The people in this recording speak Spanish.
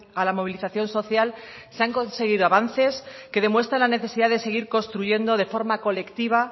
a la movilización social se han conseguido avances que demuestran la necesidad de seguir construyendo de forma colectiva